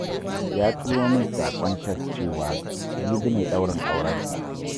Ya turo min saƙon tes cewa, jibi ne ɗaurin aurensa